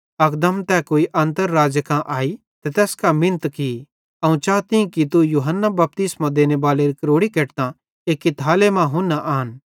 अकदम तै कुई अन्तर राज़े कां आई त तैस कां मिन्नत की अवं चाताईं कि तू यूहन्ना बपतिस्मो देनेबालेरी क्रोड़ी केटतां एक्की थाले मां हुन्ना आन